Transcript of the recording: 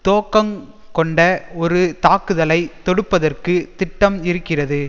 தோக்கங்கொண்ட ஒரு தாக்குதலை தொடுப்பதற்கு திட்டம் இருக்கிறது